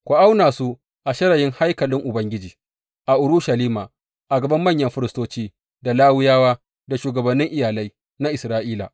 Ku auna su a shirayin haikalin Ubangiji a Urushalima, a gaban manyan firistoci, da Lawiyawa, da shugabannin iyalai na Isra’ila.